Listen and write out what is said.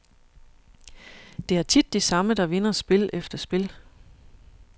Det er tit de samme, der vinder spil efter spil.